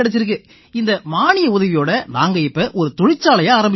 இந்த மானிய உதவியோட நாங்க இப்ப ஒரு தொழிற்சாலையை ஆரம்பிச்சிருக்கோம்